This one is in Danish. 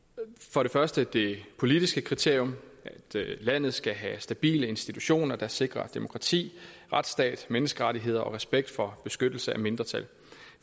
for det første det politiske kriterium at landet skal have stabile institutioner der sikrer demokrati retsstat menneskerettigheder og respekt for beskyttelse af mindretal